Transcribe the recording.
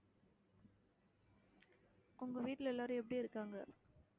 உங்க வீட்டுல எல்லாரும் எப்படி இருக்காங்க